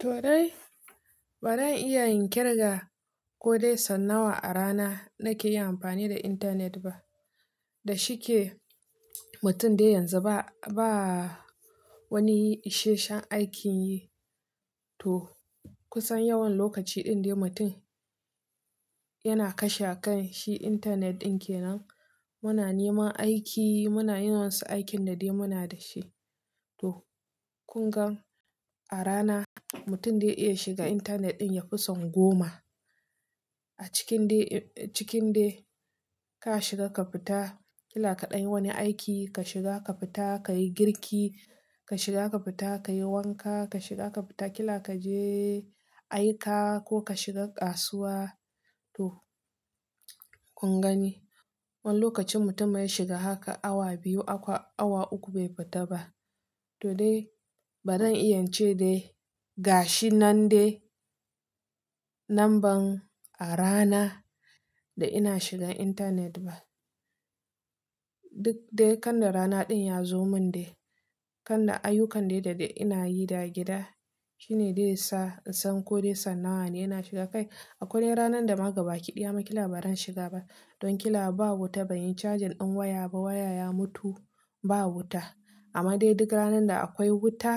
To dai, ba zan iya in kirga ko dai sau nawa a rana nake yi amfani da internet ba. Da shike mutum dai yanzu ba wani isheshen aikin yi. To kusan yawan lokaci din dai mutum yana kashe a kan shi internet din kenan. Muna neman aiki, muna yin wasu aikin da dai muna da shi. To, kun gan a rana mutum zai iya shiga intanet din yafi son goma. A cikin dai, cikin dai ka shiga ka fita kila kaɗan wani aiki, ka shiga ka fita ka yi girki, ka shiga ka fita ka yi wanka, ka shiga ka fita kila ka je aika ko ka shiga kasuwa. To kun gani, wani lokacin mutum ya shiga haka awa biyu, awa uku bai fita ba. To dai, ba zan iya ce dai ga shi nan dai lamban a rana da ina shiga intanet ba. Duk dai kan da rana din ya zo mun dai, kan da ayukan dai da ina yi da gida shine dai sa in san ko dai san nawa ne ina shiga kai. Akwai ranan da ma gaba kiɗiya ma kila ba zan shiga ba. Don kila babu wuta, ban yi cajin ɗin waya ba, waya ya mutu ba wuta. Amma dai duk ranan da akwai wuta,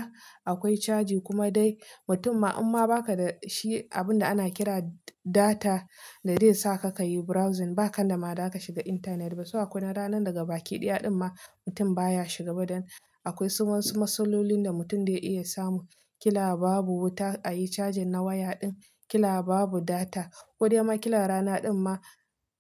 akwai caji kuma dai mutum ma imma ba ka da shi abun da ana kira data da zai sa ka ka yi browsing ba, kan da ma za ka shiga intanet ba. So akwai ranan daga baki ɗaya din ma mutum baya shiga ba don akwai wasu matsalolin da mutum zai iya samu. Kila babu wuta a yi cajin na waya din, kila babu data ko dai ma kila rana din ma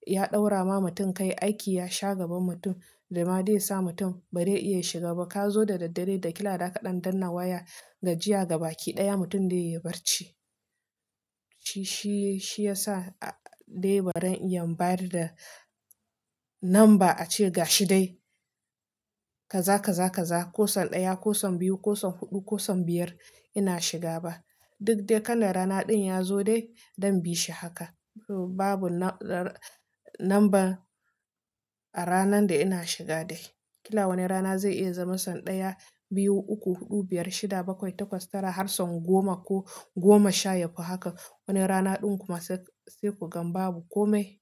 ya ɗaura ma mutum kai aiki ya sha gaban mutum da ma dai sa mutum ba zai iya shiga ba. Ka zo da daddare da kila da ka ɗan dannawa ya gajiya gaba ki ɗaya mutum zai iya barci. Shi, shi ya sa a dai ba zan iya bari da lambar ace ga shi dai ka za, ka za, ka za ko son ɗaya, ko son biyu, ko son huɗu, ko son biyar ina shiga ba. Duk dai kan da rana din ya zo dai don bi shi haka. Babu lambar a ranan da ina shiga dai. Kila wani rana zai iya zama son ɗaya, biyu, uku, huɗu, biyar, shida, bakwai, takwas, tara har son goma ko goma sha yafi haka. Wani rana din kuma sai ku gan babu komai.